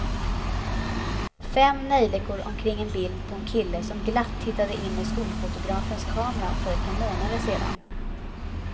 Fem neljikor omkring ett bild på en kille som glatt tittade in i skolfotografens kamera för ett par månader sedan.